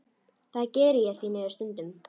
Það geri ég því miður stundum.